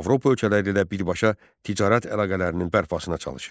Avropa ölkələri ilə birbaşa ticarət əlaqələrinin bərpasına çalışırdı.